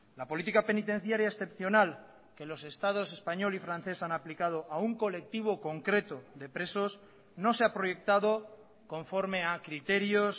la política penitenciaria excepcional que los estados español y francés han aplicado a un colectivo concreto de presos no se ha proyectado conforme a criterios